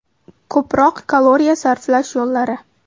Ko‘proq kaloriya sarflash yo‘llari.